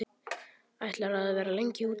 Ætlarðu að vera lengi úti?